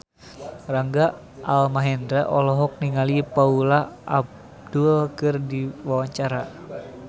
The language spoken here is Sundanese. Rangga Almahendra olohok ningali Paula Abdul keur diwawancara